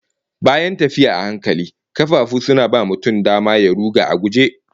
Bayan tafiya a hankali, kafafu suna ba mutum dama ya ruga a guje